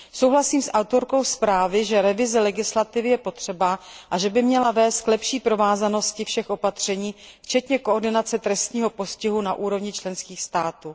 Souhlasím s autorkou zprávy, že revize legislativy je potřeba a že by měla vést k lepší provázanosti všech opatření, včetně koordinace trestního postihu na úrovni členských států.